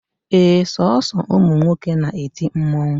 Ee, Sọọsọ ụmụ nwoke na-eti mmụọ